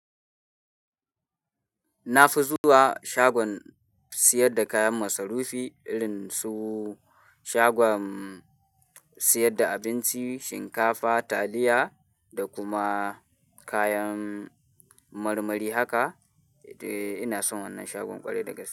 Na fi zuwa shagon siyar da kayan masarufi, irin su shagon siyar da abinci, shinkafa, taliya da kuma kayan marmari haka. Eh ina son wannan shagon ƙwarai da gas.